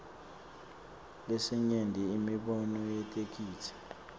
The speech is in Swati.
lesinyenti imibono yetheksthi